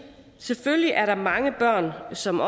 selvfølgelig er der mange børn som